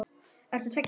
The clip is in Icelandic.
Ert þú tveggja ára?